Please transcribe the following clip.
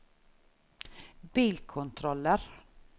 bilkontroller